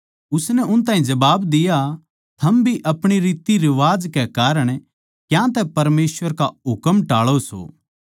उसनै उन ताहीं जबाब दिया थम भी अपणी रितरिवाज कै कारण क्यांतै परमेसवर का हुकम टाळौ सो